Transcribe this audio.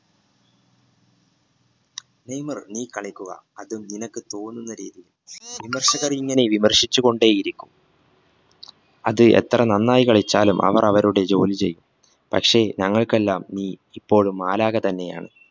Neymar നീ കളിക്കുക അത് നിനക്ക് തോന്നുന്ന രീതിയിൽ വിമർശകർ ഇങ്ങനെ വിമർശിച്ചു കൊണ്ടേയിരിക്കും അത് എത്ര നന്നായി കളിച്ചാലും അവർ അവരുടെ ജോലി ചെയ്യും പക്ഷേ ഞങ്ങൾക്കെല്ലാം നീ ഇപ്പോഴും മാലാഖ തന്നെയാണ്